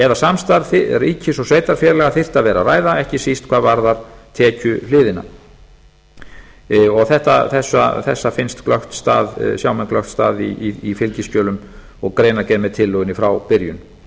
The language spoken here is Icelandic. eða samstarf ríkis og sveitarfélaga þyrfti að vera að ræða ekki síst hvað varðar tekjuhliðina þessa sjá menn glöggt stað í fylgiskjölum og greinargerð með tillögunni frá byrjun